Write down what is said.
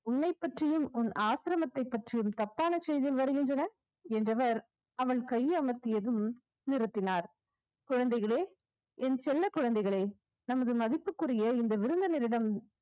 உன்னை பற்றியும் உன் ஆசிரமத்தைப் பற்றியும் தப்பான செய்திகள் வருகின்றன என்றவர் அவன் கை அமர்த்தியதும் நிறுத்தினார் குழந்தைகளே என் செல்லக் குழந்தைகளே நமது மதிப்புக்குரிய இந்த விருந்தினரிடம்